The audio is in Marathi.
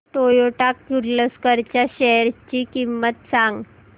टोयोटा किर्लोस्कर च्या शेअर्स ची किंमत सांग